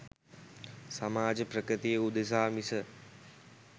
සමාජ ප්‍රගතිය උදෙසා මිස